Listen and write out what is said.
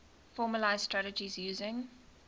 formalised strategies using